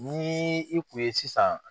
Ni i kun ye sisan